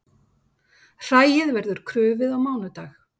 Hræið verður krufið á mánudag